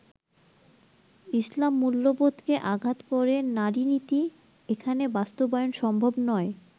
ইসলাম মূল্যবোধকে আঘাত করে নারী নীতি এখানে বাস্তবায়ন সম্ভব নয়।